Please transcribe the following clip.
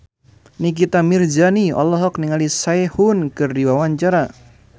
Nikita Mirzani olohok ningali Sehun keur diwawancara